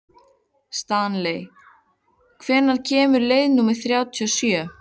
Stanley, hvenær kemur leið númer þrjátíu og sjö?